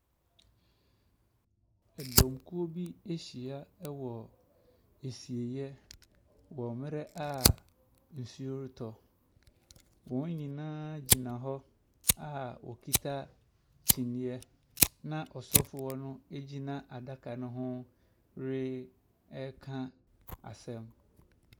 Ɛdɔmkuo bi ahyia wɔ asieɛ wɔ bere a nsuo retɔ. Wɔn nyinaa gyina hɔ a wokita kyiniiɛ na ɔsɔfoɔ no gyina adaka no ho reka asɛm.